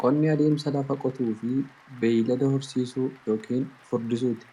Qonni adeemsa lafa qotuufi beeylada horsiisuu yookiin furdisuuti.